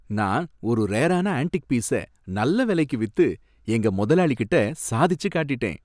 நான் ஒரு ரேரான ஆன்ட்டிக் பீஸ நல்ல விலைக்கு வித்து எங்க முதலாளிட்ட சாதிச்சு காட்டிட்டேன்.